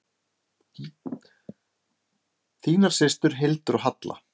Þínar systur, Hildur og Halla.